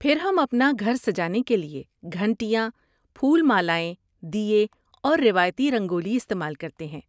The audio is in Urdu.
پھر ہم اپنا گھر سجانے کے لیے گھنٹیاں، پھول مالائیں، دیئے، اور روایتی رنگولی استعمال کرتے ہیں۔